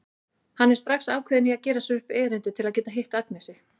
Hann er strax ákveðinn í að gera sér upp erindi til að geta hitt Agnesi.